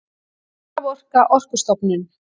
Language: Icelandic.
Raforka Orkustofnun.